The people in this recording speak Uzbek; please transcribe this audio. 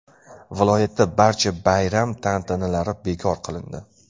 Viloyatda barcha bayram tantanalari bekor qilindi.